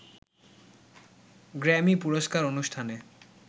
Grammy পুরস্কার অনুষ্ঠানে